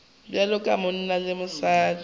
bjalo ka monna le mosadi